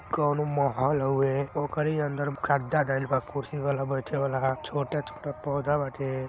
कउनो महल हउवे ओकरे अंदर गद्दा धैल बा कुर्सी वाला बैठे वाला छोटे-छोटे पौधा बाटे।